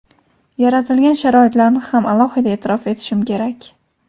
yaratilgan sharoitlarni ham alohida e’tirof etishim kerak.